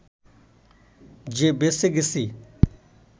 যে বেঁচে গেছি